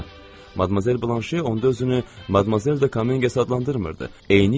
Madmazel Blanşe onda özünü Madmazel de Kamenges adlandırmırdı.